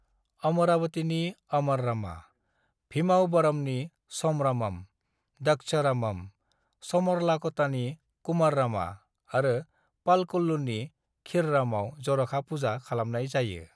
"अमरावतीनि अमररामा, भीमावरमनि सोमरामम, द्रक्षरामम, समरलाकोटानि कुमाररामा आरो पालकोल्लूनि क्षीररामआव जर'खा पूजा खालामनाय जायो।"